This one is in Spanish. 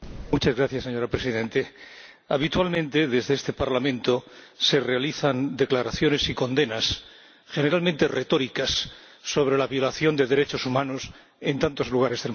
Señora Presidenta, habitualmente desde este Parlamento se realizan declaraciones y condenas, generalmente retóricas, sobre la violación de derechos humanos en tantos lugares del mundo.